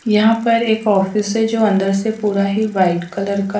यहां पर एक ऑफिस है जो अंदर से पूरा ही वाइट कलर का।